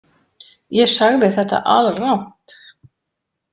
Ég sagði þetta alrangt.